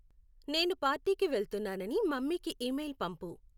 నేను పార్టీకి వెళ్తున్నానని మమ్మీకి ఇమెయిల్ పంపు